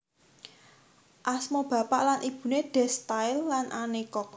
Asma bapak lan ibune Des Style lan Anne Cox